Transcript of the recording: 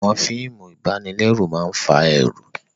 Àwọn fíìmù ìbanilẹ́rù máa fa ẹ̀rù